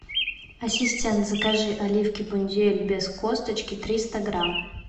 ассистент закажи оливки бондюэль без косточки триста грамм